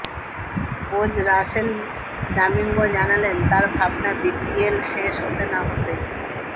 coach Russell Domingo জানালেন তাঁর ভাবনা বিপিএল শেষ হতে না হতেই